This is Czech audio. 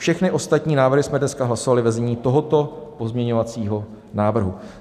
Všechny ostatní návrhy jsme dneska hlasovali ve znění tohoto pozměňovacího návrhu.